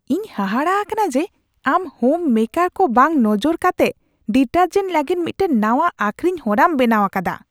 ᱤᱧ ᱦᱟᱦᱟᱲᱟᱜ ᱟᱠᱟᱱᱟ ᱡᱮ ᱟᱢ ᱦᱳᱢ ᱢᱮᱠᱟᱨ ᱠᱚ ᱵᱟᱝ ᱱᱚᱡᱚᱨ ᱠᱟᱛᱮᱜ ᱰᱤᱴᱟᱨᱡᱮᱱᱴ ᱞᱟᱹᱜᱤᱫ ᱢᱤᱫᱴᱟᱝ ᱱᱟᱶᱟ ᱟᱹᱠᱷᱨᱤᱧ ᱦᱚᱨᱟᱢ ᱵᱮᱱᱟᱣ ᱟᱠᱟᱫᱟ ᱾